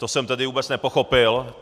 To jsem tedy vůbec nepochopil.